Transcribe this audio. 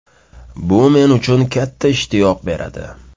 Bu men uchun katta ishtiyoq beradi.